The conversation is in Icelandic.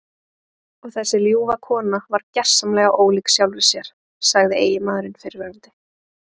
Og þessi ljúfa kona varð gersamlega ólík sjálfri sér, sagði eiginmaðurinn fyrrverandi.